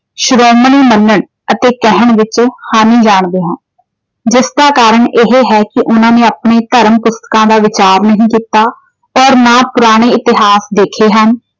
ਸ਼੍ਰੋਮਣੀ ਮੰਨਣ ਅਤੇ ਕਹਿਣ ਵਿੱਚ ਹਾਨੀ ਜਾਣਦੇ ਹਾਂ। ਜਿਸ ਦਾ ਕਾਰਨ ਇਹ ਹੈ ਕਿ ਉਹਨਾਂ ਨੇ ਆਪਣੇ ਧਰਮ ਪੁਸਤਕਾਂ ਦਾ ਵਿਚਾਰ ਨਹੀਂ ਕੀਤਾ ਅਤੇ ਨਾ ਪੁਰਾਣੇ ਇਤਹਾਸ ਦੇਖੇ ਹਨ।